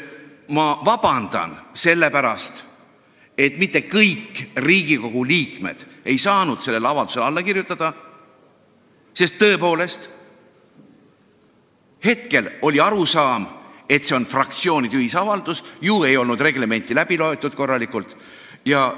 Ma palun vabandust selle pärast, et kõik Riigikogu liikmed ei saanud sellele avaldusele alla kirjutada, sest tõepoolest, hetkel oli arusaam, et see on fraktsioonide ühisavaldus – ju ei olnud reglementi korralikult läbi loetud.